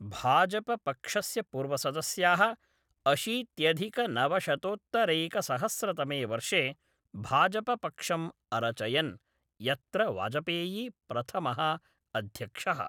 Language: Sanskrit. भाजपपक्षस्य पूर्वसदस्याः अशीत्यधिकनवशतोत्तरैकसहस्रतमे वर्षे भाजपपक्षम् अरचयन्, यत्र वाजपेयी प्रथमः अध्यक्षः।